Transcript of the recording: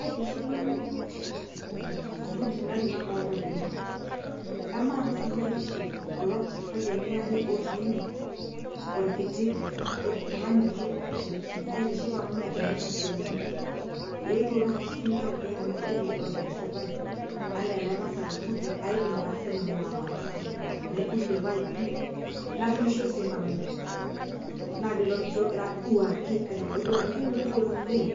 aitiship nanu intokiting are nadolita tene emang'as ninye aitiship kulo payiani aare otii ene orkiti oltung'ani kitok aitiship amu megelita isiaitin etuo taata sinche ajo ore ena siai nikidolta esitae anaa ele tasat oirruge aidim taa sinanu ataasa naibung'ie irpaipi naturisho sinanu naa lilo orkiti ogira aduaki aitodolu ajo king'orita oleng